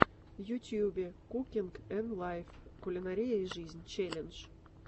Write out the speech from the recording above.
в ютубе кукинг энд лайф кулинария и жизнь челлендж